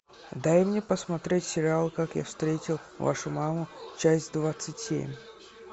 дай мне посмотреть сериал как я встретил вашу маму часть двадцать семь